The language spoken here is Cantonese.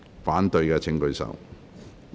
反對的請舉手。